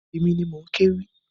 Èmi ni mò ń kéwì.